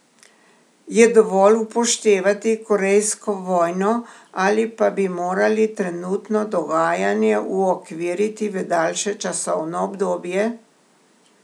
Je dovolj upoštevati Korejsko vojno ali pa bi morali trenutno dogajanje uokviriti v daljše časovno obdobje?